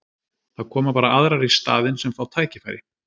Það koma bara aðrar í staðinn sem fá tækifæri.